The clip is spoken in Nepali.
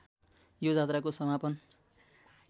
यो जात्राको समापन